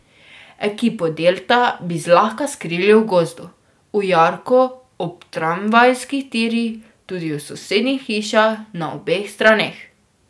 Ekipo Delta bi zlahka skrili v gozdu, v jarku ob tramvajskih tirih, tudi v sosednjih hišah na obeh straneh.